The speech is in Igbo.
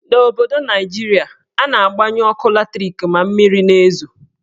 N'obodo Naijiria, a na-agbanyu ọkụ latrik ma mmiri na-ezo.